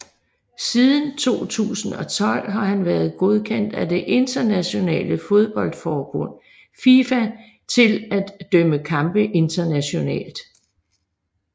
Siden 2012 har han været godkendt af det internationale fodboldforbund FIFA til at dømme kampe internationalt